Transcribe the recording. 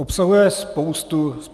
Obsahuje spoustu rad.